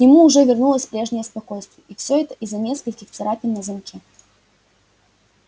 к нему уже вернулось прежнее спокойствие и все это из-за нескольких царапин на замке